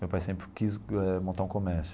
Meu pai sempre quis eh montar um comércio.